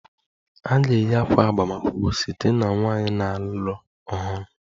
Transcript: A ga-eyi ákwà agbamakwụkwọ site na nwanyị na-alụ ọhụrụ